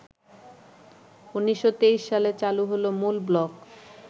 ১৯২৩ সালে চালু হল মূল ব্লক